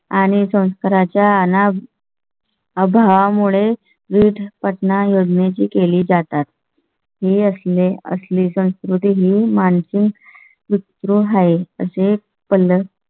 आणि संस्कारांच्या. अभावा मुळे विविध पटना योग्याची केली जातात. ही असले असले संस्कृती ही माणसे मित्र आहे. म्हणजे पल्लम.